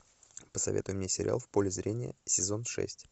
посоветуй мне сериал в поле зрения сезон шесть